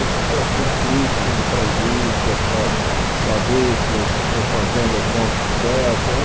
É uma espécie de um clip para a indústria, para saber se as propagandas dão certo. É um